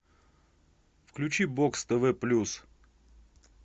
включи бокс тв плюс